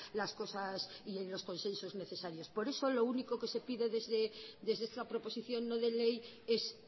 las cosas y los consensos necesarios por eso lo único que se pide desde esta proposición no de ley es